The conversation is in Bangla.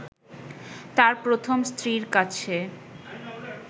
তার প্রথম স্ত্রীর কাছে